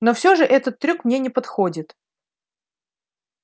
но все же этот трюк мне не подходит